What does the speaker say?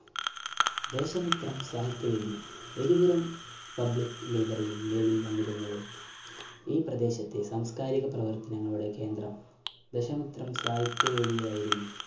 ദേശമിത്രം സാഹിത്യവേദി Eripuram Public Library ഇൽ നിലവിൽന്നിരുന്നത് എൻ പ്രദേശത്തെ സാംസ്‌കാരിക പ്രവർത്തനങ്ങളുടെ കേന്ദ്രം ദശമിത്രം സാഹിത്യ വേദിയായിരുന്നു